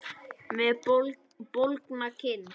Með bólgna kinn.